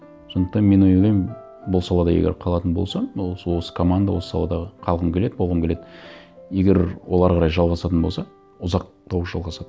сондықтан мен ойлаймын бұл салада егер қалатын болсам осы команда осы саладағы қалғым келеді болғым келеді егер ол әрі қарай жалғасатын болса ұзақтау жалғасады